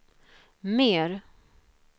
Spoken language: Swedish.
mer